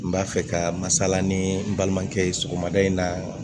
N b'a fɛ ka masala ni n balimakɛ ye sɔgɔmada in na